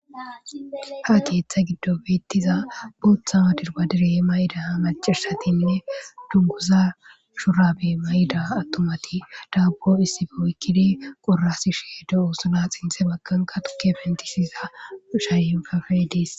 Ha keettha giddo beeththiza guuththawa dirbbadire mayida maccashathinne dungguzaa shuraabee mayida aththumathi daabbo issippe oykkidi qorrasishee de7oosona;sinththe baggankka thukke penththisiza ushayenkafe des.